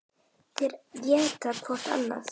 Þeir éta hvorn annan.